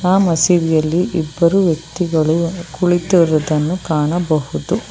ಆ ಮಸೀದಿಯಲ್ಲಿ ಇಬ್ಬರು ವ್ಯಕ್ತಿಗಳು ಕುಳಿತುರುವುದನ್ನು ಕಾಣಬಹುದು.